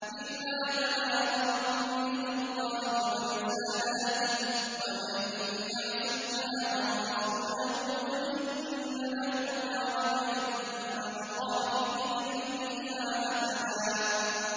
إِلَّا بَلَاغًا مِّنَ اللَّهِ وَرِسَالَاتِهِ ۚ وَمَن يَعْصِ اللَّهَ وَرَسُولَهُ فَإِنَّ لَهُ نَارَ جَهَنَّمَ خَالِدِينَ فِيهَا أَبَدًا